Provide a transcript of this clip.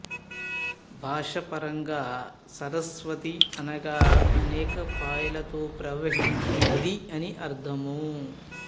భాషా పరంగా సరస్వతి అనగా అనేక పాయలతో ప్రవహించు నది అని అర్థము